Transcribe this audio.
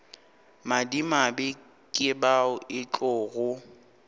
madimabe ke bao e tlogo